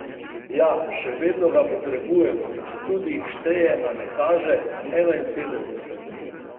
Ja, še vedno ga potrebujemo, četudi jih šteje, a ne kaže, enainsedemdeset!